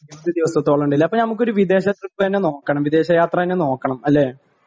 ഇരുപതു ദിവസത്തോളം ഉണ്ട് അല്ലേ അപ്പോ നമുക്ക് ഒരു വിദേശ ട്രിപ്പ് തന്നെ നോക്കണം വിദേശ യാത്ര തന്നെ നോക്കണം അല്ലേ